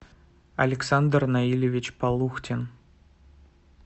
александр наильевич полухтин